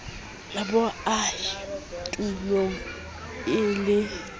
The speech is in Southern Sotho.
bo ahe tulong e le